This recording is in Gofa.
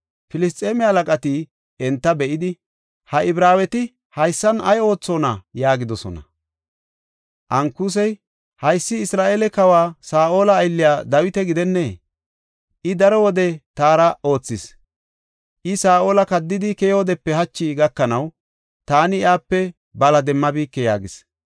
Filisxeeme halaqati enta be7idi, “Ha Ibraaweti haysan ay oothona?” yaagidosona. Ankusi, “Haysi Isra7eele kawa Saa7ola aylliya Dawita gidennee? I daro wode taara aathis; I Saa7ola kaddidi keyoodepe hachi gakanaw taani iyape bala demmabike” yaagis.